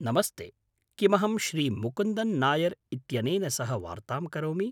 नमस्ते, किमहं श्री मुकुन्दन् नायर् इत्यनेन सह वार्तां करोमि?